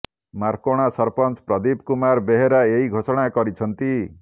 ମାର୍କୋଣା ସରପଞ୍ଚ ପ୍ରଦୀପ କୁମାର ବେହେରା ଏହି ଘୋଷଣା କରିଛନ୍ତି